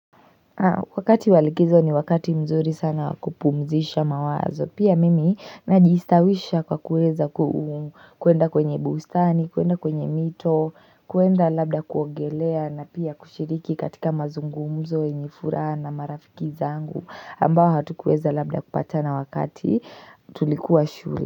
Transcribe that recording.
Wakati walikizo ni wakati mzuri sana kupumzisha mawazo. Pia mimi najiistawisha kwa kuweza kuenda kwenye bustani, kuenda kwenye mito, kuenda labda kuogelea na pia kushiriki katika mazungumzo, yenye furaha na marafiki zangu ambayo hatukuweza labda kupata na wakati tulikuwa shule.